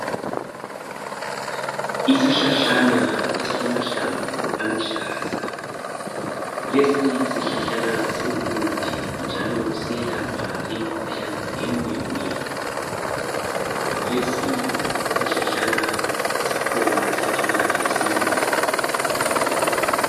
Isihlahlana esilamahlamvu aluhlaza. Lesi sihlahlana singumuthi njalo siyelapha imikhuhlane eminenginengi. Lesi sihlahlana sikhona, siyatholakala esintwini.